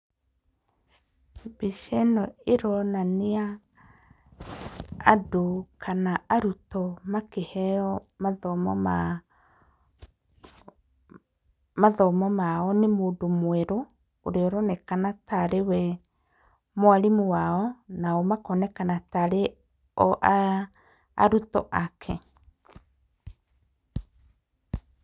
Mbica ĩno ĩronania andũ kana arutwo makĩheo mathomo ma, mathomo mao nĩ mũndũ mwerũ ũrĩa ũronekana tarĩ we mwarimũ wao, nao makonekana tarĩ o arutwo ake.